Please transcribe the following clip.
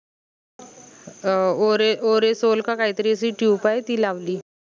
अं ओरे ओरे सोल का काई तरी असी tube आहे ती लावली